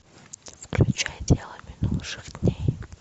включай дело минувших дней